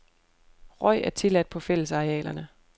Røg er tilladt på fællesarealerne.